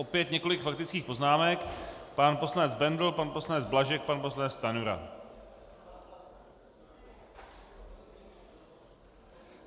Opět několik faktických poznámek - pan poslanec Bendl, pan poslanec Blažek, pan poslanec Stanjura.